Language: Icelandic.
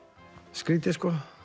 skrýtið